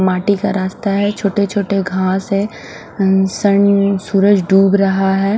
माटी का रास्ता है छोटे छोटे घास है अ सन सूरज ढूब रहा है।